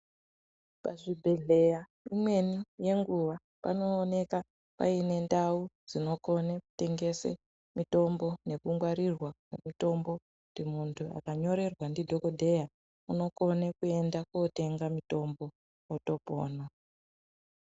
Pazvibhedhlera imweni yenguva panoonekwa pane ndau dzinokona kutengesa mitombo nekungwarirwa kwemitombo kuti muntu akanyorerwa ndidhokodheya anokone kuenda kotenga mitombo otopona.